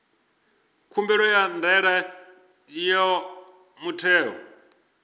khumbelo ya ndaela ya muthelo